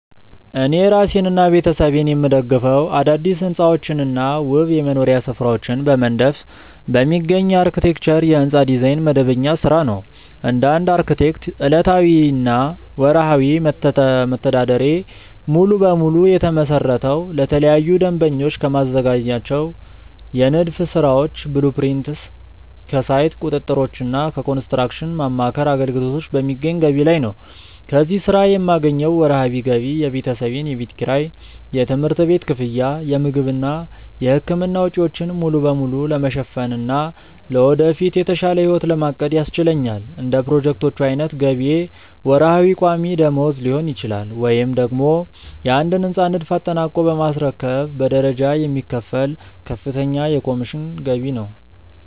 እኔ እራሴንና ቤተሰቤን የምደግፈው አዳዲስ ሕንፃዎችንና ውብ የመኖሪያ ስፍራዎችን በመንደፍ በሚገኝ የአርክቴክቸር (የሕንፃ ዲዛይን) መደበኛ ሥራ ነው። እንደ አንድ አርክቴክት፣ ዕለታዊና ወርሃዊ መተዳደሪያዬ ሙሉ በሙሉ የተመሰረተው ለተለያዩ ደንበኞች ከማዘጋጃቸው የንድፍ ሥራዎች (blueprints)፣ ከሳይት ቁጥጥሮችና ከኮንስትራክሽን ማማከር አገልግሎቶች በሚገኝ ገቢ ላይ ነው። ከዚህ ሥራ የማገኘው ወርሃዊ ገቢ የቤተሰቤን የቤት ኪራይ፣ የትምህርት ቤት ክፍያ፣ የምግብና የሕክምና ወጪዎችን ሙሉ በሙሉ ለመሸፈንና ለወደፊት የተሻለ ሕይወት ለማቀድ ያስችለኛል። እንደ ፕሮጀክቶቹ ዓይነት ገቢዬ ወርሃዊ ቋሚ ደመወዝ ሊሆን ይችላል፤ ወይም ደግሞ የአንድን ሕንፃ ንድፍ አጠናቆ በማስረከብ በደረጃ የሚከፈል ከፍተኛ የኮሚሽን ገቢ ነው።